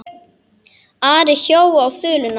Ari hjó á þuluna.